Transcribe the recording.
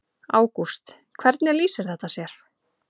Ágúst: Hvernig lýsir þetta sér?